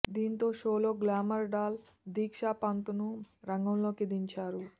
దీంతో షోలో glamour doll Diksha Panth ను రంగంలోకి దించారు